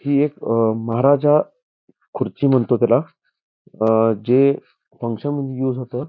हे एक महाराजा खुर्ची म्हणतो त्याला जे फंकशनमध्ये युस होत|